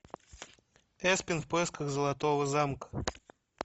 эспен в поисках золотого замка